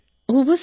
ഉവ്വ് സർ